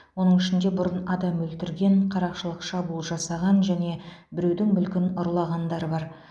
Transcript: оның ішінде бұрын адам өлтірген қарақшылық шабуыл жасаған және біреудің мүлкін ұрлағандар бар